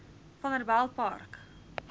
vanderbijilpark